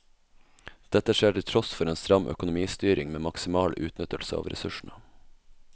Dette skjer til tross for en stram økonomistyring med maksimal utnyttelse av ressursene.